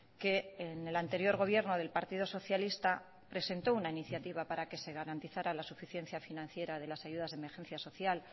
que en el anterior gobierno del partido socialista presentó una iniciativa para que se garantizara la suficiencia financiera de las ayudas de emergencia social